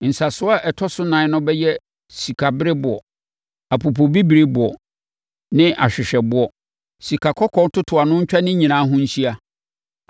Nsasoɔ a ɛtɔ so nan no bɛyɛ sikabereɛboɔ, apopobibirieboɔ ne ahwehwɛboɔ. Sikakɔkɔɔ ntotoano ntwa ne nyinaa ho nhyia.